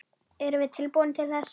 Erum við tilbúin til þess?